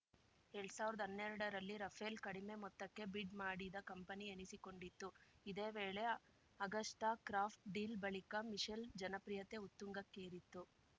ಎಲ್ಡ್ ಸಾವಿರ್ದ್ ಹನ್ನೆರ್ಡರಲ್ಲಿ ರಫೇಲ್‌ ಕಡಿಮೆ ಮೊತ್ತಕ್ಕೆ ಬಿಡ್‌ ಮಾಡಿದ ಕಂಪನಿ ಎನಿಸಿಕೊಂಡಿತ್ತು ಇದೇ ವೇಳೆ ಅಗಸ್ಟಾಕ್ರಾಫ್ಟ್ ಡೀಲ್‌ ಬಳಿಕ ಮಿಶೆಲ್‌ ಜನಪ್ರಿಯತೆ ಉತ್ತುಂಗಕ್ಕೇರಿತ್ತು